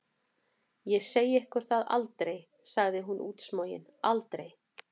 Ég segi ykkur það aldrei, svarði hún útsmogin, aldrei!